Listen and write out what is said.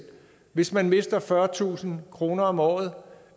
hvis man mister fyrretusind kroner om året